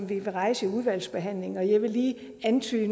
vil rejse under udvalgsbehandlingen og jeg vil lige her antyde